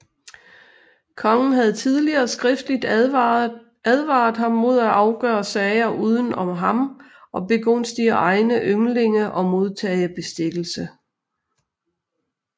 Kongen havde tidligere skriftligt advaret ham mod at afgøre sager uden om ham og begunstige egne yndlinge og modtage bestikkelse